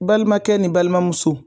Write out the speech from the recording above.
Balimakɛ ni balimamuso